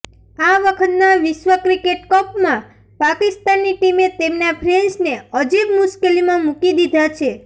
આ વખતના વિશ્વ ક્રિકેટ કપમાં પાકિસ્તાની ટીમે તેમના ફેન્સને અજીબ મુશ્કેલીમાં મુકી દીધા છે